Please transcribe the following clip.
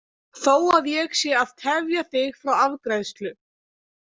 Þó að ég sé að tefja þig frá afgreiðslu.